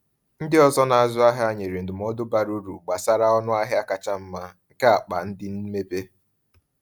Ndị ọzọ na-azụ ahịa nyere ndụmọdụ bara uru gbasara ọnụ ahịa kacha mma nke akpa ndị mmebe.